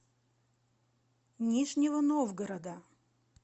нижнего новгорода